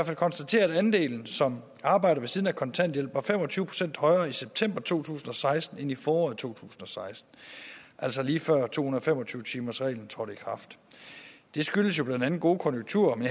fald konstatere at andelen som arbejder ved siden af kontanthjælpen var fem og tyve procent højere i september to tusind og seksten end i foråret to tusind og seksten altså lige før to hundrede og fem og tyve timersreglen trådte i kraft det skyldes blandt andet gode konjunkturer men